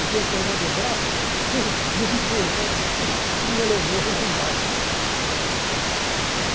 Ele me pegou no braço, e me empurrou e me levou lá embaixo.